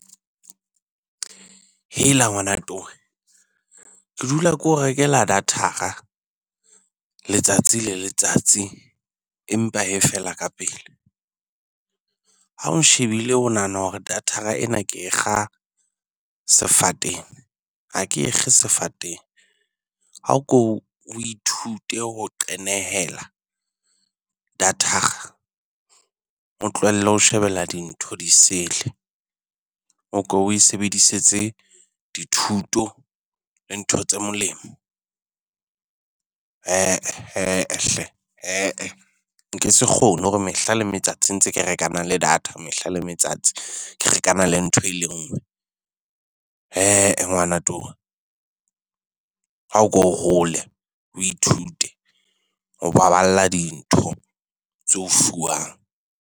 Hela ngwana towe. Ke dula ke o rekela data-ra letsatsi le letsatsi empa e fela ka pele. Ha o nshebile o nahana hore datara ena ke e kga sefateng. Ha ke e kge sefateng. Ako o ithute ho qenehela data-ra. O tlohelle ho shebella dintho di sele. Oko o e sebedisetse dithuto le ntho tse molemo. He-eh, he-eh hle he-eh, nke se kgone hore mehla le metsatsi ntse ke rekana le data. Mehla le metsatsi ke rekana le ntho e le nngwe. He-eh ngwana towe ha ko hole o ithute ho baballa dintho tse o fuwang.